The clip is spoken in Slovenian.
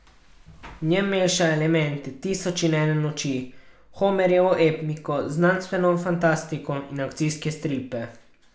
V njem meša elemente Tisoč in ene noči, Homerjevo epiko, znanstveno fantastiko in akcijske stripe.